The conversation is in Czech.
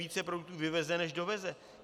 Více produktů vyveze než doveze.